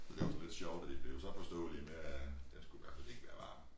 Det var så lidt sjovt at de blev så forståelige med at det skulle i hvert fald ikke være varm